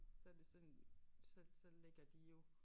Så det sådan så så lægger de jo